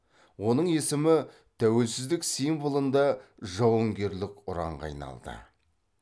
оның есімі тәуелсіздік символында жауынгерлік ұранға айналды